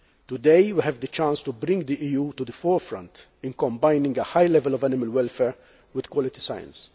Today, we have the chance to bring the EU to the forefront in combining a high level of animal welfare with quality science.